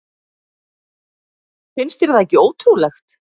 Finnst þér það ekki ótrúlegt?